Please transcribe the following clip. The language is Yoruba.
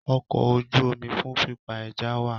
Ọkọ̀ ojú omi fún pípa ẹja wá